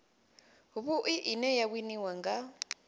vhui ine ya winiwa nga